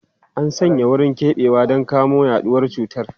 An sanya wurin keɓewa don kamo yaduwar cutar.